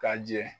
Ka jɛ